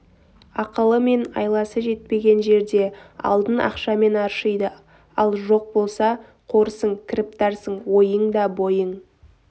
ақылы мен айласы жетпеген жерде алдын ақшамен аршиды ал жоқ болса қорсың кіріптарсың ойың да бойың